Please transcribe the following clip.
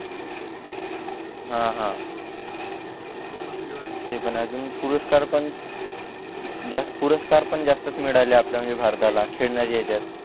हा हा ते पण अजून पुरस्कार पण जास्त पुरस्कार पण जास्तच मिळाले आपल्याला भारताला खेळण्याचे येतात